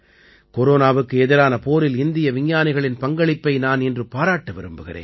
கொரோனாவுக்கு எதிரான போரில் இந்திய விஞ்ஞானிகளின் பங்களிப்பை நான் இன்று பாராட்ட விரும்புகிறேன்